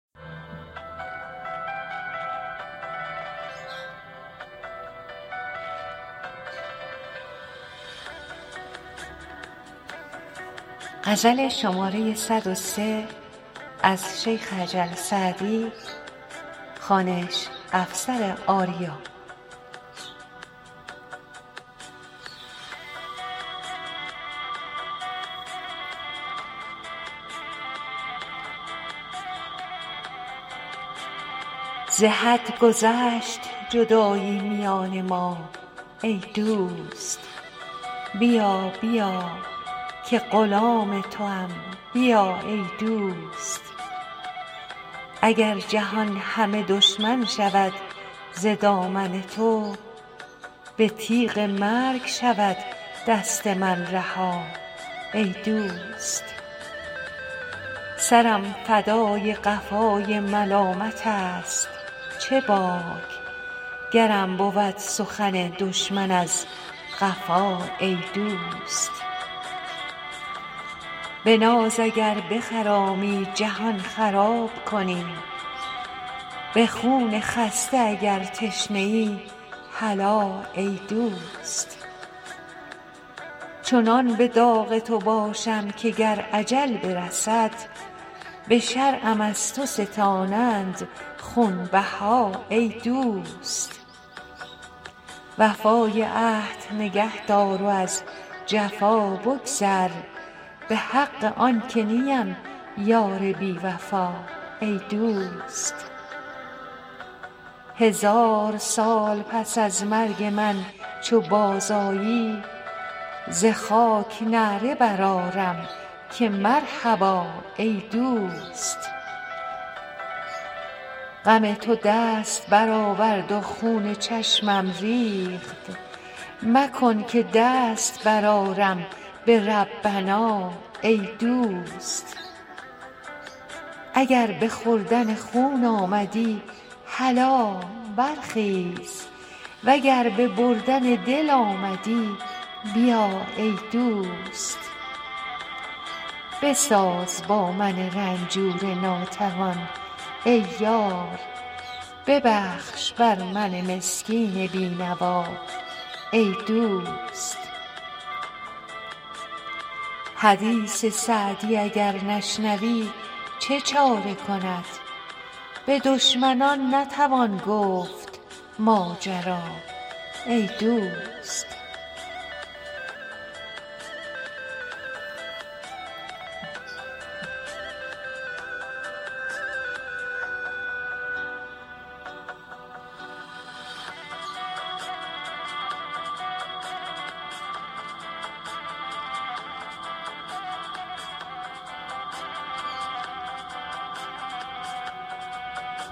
ز حد گذشت جدایی میان ما ای دوست بیا بیا که غلام توام بیا ای دوست اگر جهان همه دشمن شود ز دامن تو به تیغ مرگ شود دست من رها ای دوست سرم فدای قفای ملامتست چه باک گرم بود سخن دشمن از قفا ای دوست به ناز اگر بخرامی جهان خراب کنی به خون خسته اگر تشنه ای هلا ای دوست چنان به داغ تو باشم که گر اجل برسد به شرعم از تو ستانند خونبها ای دوست وفای عهد نگه دار و از جفا بگذر به حق آن که نیم یار بی وفا ای دوست هزار سال پس از مرگ من چو بازآیی ز خاک نعره برآرم که مرحبا ای دوست غم تو دست برآورد و خون چشمم ریخت مکن که دست برآرم به ربنا ای دوست اگر به خوردن خون آمدی هلا برخیز و گر به بردن دل آمدی بیا ای دوست بساز با من رنجور ناتوان ای یار ببخش بر من مسکین بی نوا ای دوست حدیث سعدی اگر نشنوی چه چاره کند به دشمنان نتوان گفت ماجرا ای دوست